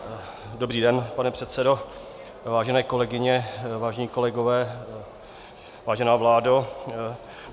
Dobrý den, pane předsedo, vážené kolegyně, vážení kolegové, vážená vládo.